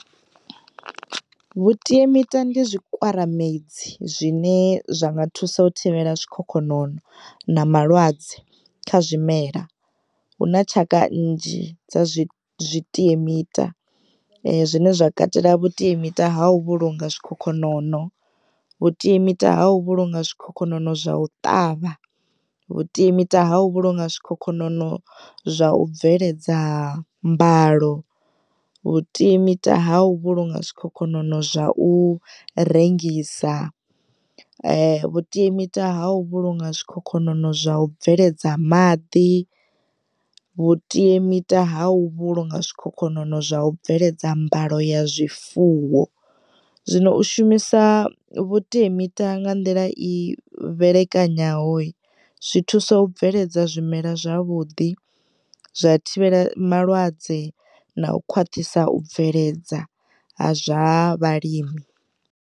Vhuteamita ndi zwikwaramedzi zwine zwa nga thusa u thivhela zwikhokhonono na malwadze kha zwimela hu na tshaka nnzhi dza zwitiemita zwine zwa katela zwitiemita zwa u vhulunga zwikhokhonono, vhutiemita ha u vhulunga zwikhokhonono zwa u ṱavha, vhutiemita ha u vhulunga zwikhokhonono zwa u bveledza mbalo, vhutiemita ha u vhulunga zwikhokhonono zwa u rengisa, vhutiemita ha u vhulunga zwikhokhonono zwa u bveledza maḓi, vhutiemita ha u vhulunga zwikhokhonono zwa u bveledza mbalo ya zwifuwo. Zwino u shumisa vhutiemita nga nḓila i vhelekanyaho hi zwi thusa u bveledza zwimela zwavhuḓi zwa thivhela malwadze na u khwaṱhisa u bveledza ha zwa vhalimi.